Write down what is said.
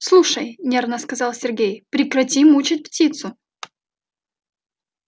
слушай нервно сказал сергей прекрати мучить птицу